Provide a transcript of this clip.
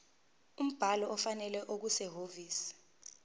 umbhalo ofanele okusehhovisi